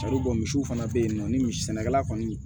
misiw fana bɛ yen nɔ ni misi sɛnɛkɛla kɔni